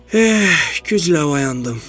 Eh, güclə oyandım.